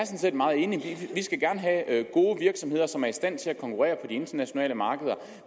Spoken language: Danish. set meget enig vi skal gerne have gode virksomheder som er i stand til at konkurrere internationale markeder